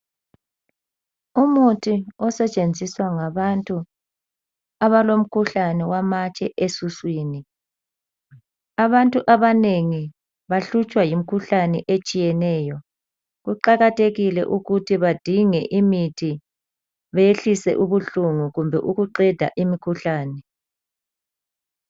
Umuthi osetshenziswa ngabantu abalomkhuhlane wamatshe esiswini. Abantu abanengi bahlutshwa yimikhuhlane etshiyeneyo. Kuqakathekile ukuthi badinge imithi behlise ubuhlungu kumbe ukuqeda imikhuhlane.